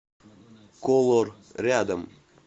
колор рядом